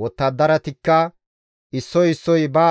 Wottadaratikka issoy issoy ba